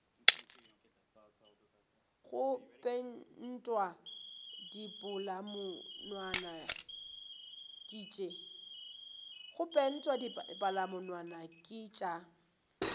go pentwa dipalamonwana ke tša